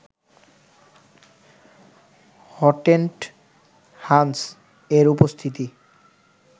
Hottentot হানস এর উপস্থিতি